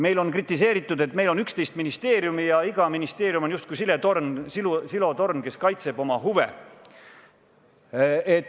Meil on kritiseeritud, et meil on 11 ministeeriumi ja iga ministeerium on justkui silotorn, kes kaitseb oma huve.